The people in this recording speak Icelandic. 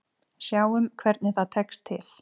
Sjáum hvernig það tekst til.